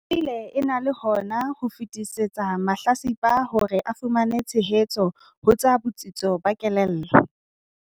E bile e na le hona ho fetisetsa mahlatsipa hore a fumane tshehetso ho tsa botsitso ba kelello.